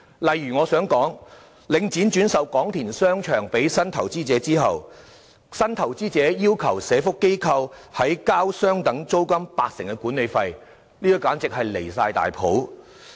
例如，領展在轉售廣田商場予新投資者後，新投資者要求社福機構在繳交相等於租金八成的管理費，這做法簡直極端離譜。